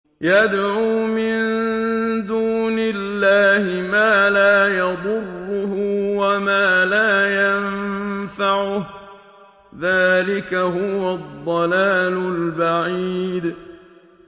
يَدْعُو مِن دُونِ اللَّهِ مَا لَا يَضُرُّهُ وَمَا لَا يَنفَعُهُ ۚ ذَٰلِكَ هُوَ الضَّلَالُ الْبَعِيدُ